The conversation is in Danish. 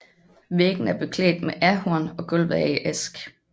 Væggene er beklædt med ahorn og gulvet er i ask